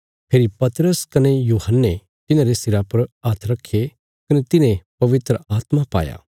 फेरी पतरस कने यूहन्ने तिन्हांरे सिरा पर हात्थ रखे कने तिन्हें पवित्र आत्मा पाया